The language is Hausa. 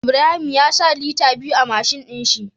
Ibrahim ya sa Liter biyu a mashin din shi